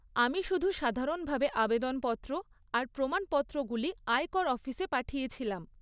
আমি শুধু সাধারণভাবে আবেদনপত্র আর প্রমাণপত্রগুলি আয়কর অফিসে পাঠিয়েছিলাম।